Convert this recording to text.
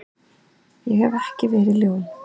Ég hef ekki verið ljón.